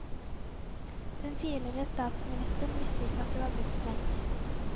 Den tidligere statsministeren visste ikke at det var busstreik.